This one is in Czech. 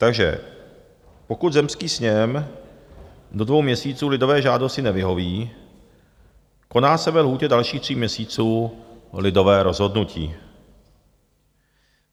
Takže pokud zemský sněm do dvou měsíců lidové žádosti nevyhoví, koná se ve lhůtě dalších tří měsíců lidové rozhodnutí.